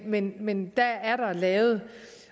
men men dér er der lavet